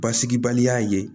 Basigibaliya ye